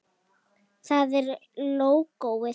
Það er lógóið.